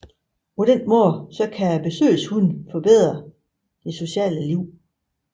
På den måde kan besøgshunde forbedre det sociale liv